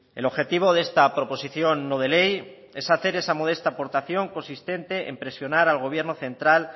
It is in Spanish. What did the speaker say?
el objetivo de esta proposición no de ley es hacer esa modesta aportación consistente en presionar al gobierno central